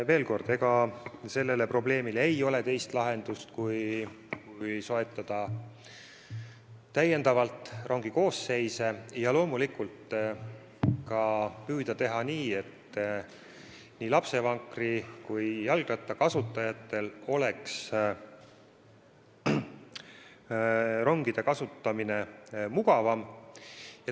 Veel kord: sellele probleemile ei ole teist lahendust kui soetada täiendavalt rongikoosseise ja loomulikult seni püüda teha nii, et nii lapsevankri kui jalgratta kasutajatel oleks ronge mugavam kasutada.